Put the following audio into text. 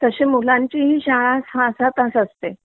तशे मुलांची ही शाळा सहा सहा तास असते